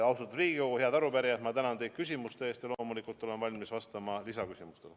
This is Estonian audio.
Austatud Riigikogu, head arupärijad, ma tänan teid küsimuste eest ja loomulikult olen valmis vastama lisaküsimustele.